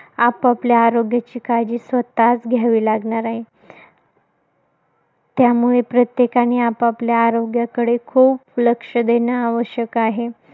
आपापल्या आरोग्याची काळजी स्वतःच घ्यावी लागणार आहे. त्यामुळे प्रत्येकाने आपापल्या आरोग्याकडे लक्ष देणं खूप आवश्यक आहे.